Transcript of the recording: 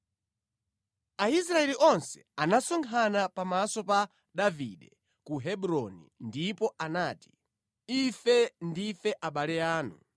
Aisraeli onse anasonkhana pamaso pa Davide ku Hebroni ndipo anati, “Ife ndife abale anu.